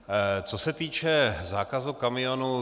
Co se týče zákazu kamionů.